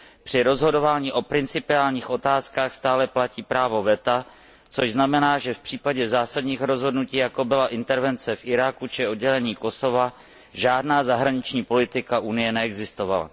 Při rozhodování o principiálních otázkách stále platí právo veta, což znamená, že v případě zásadních rozhodnutí, jako byla intervence v Iráku či oddělení Kosova, žádná zahraniční politika Unie neexistovala.